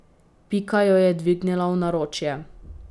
Pika jo je dvignila v naročje.